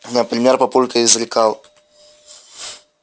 например папулька изрекал